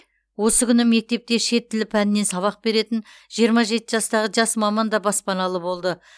осы күні мектепте шет тілі пәнінен сабақ беретін жиырма жеті жастағы жас маман да баспаналы болды